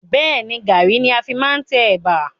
Bẹ́ẹ̀ni, Garri ni a fi máa ń tẹ Ẹ̀bà.